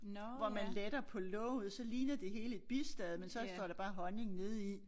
Hvor man letter på låget så ligner det hele et bistade men så står der bare honning nede i